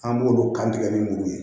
An b'olu kan tigɛ ni muru ye